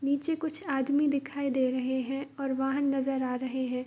नीचे कुछ आदमी दिखाई दे रहे हैं और वाहन नजर आ रहे हैं |